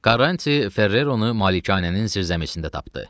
Karanti Ferreronu malikanənin zirzəmisində tapdı.